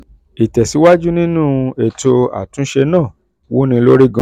ìtẹ̀síwájú nínú um ètò àtúnṣe náà wúni lórí gan-an.